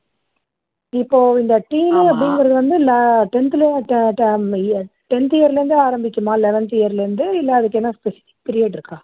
இப்போ இந்த teenage ங்குறது வந்து tenth ல ட ட tenth ல இருந்தே ஆரம்பிக்குமா eleventh year ல இருந்து இல்ல அதுக்கு எதும் specific period இருக்கா